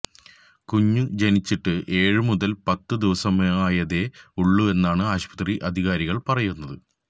കുഞ്ഞു ജനിച്ചിട്ട് ഏഴു മുതല് പത്ത് ദിവസമായതേ ഉള്ളുവെന്നാണ് ആശുപത്രി അധികാരികള് പറയുന്നത്